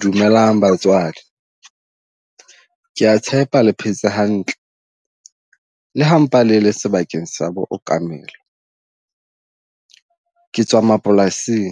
Dumelang batswadi, ke ya tshepa le phetse hantle le ha mpa le le sebakeng sa book mmele. Ke tswa mapolasing